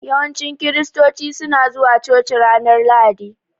Yawanci kiristoci suna zuwa coci ranar Lahadi.